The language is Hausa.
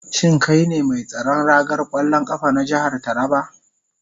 Shin kai ne mai tsaron ragar kwallon kafa na jihar Taraba?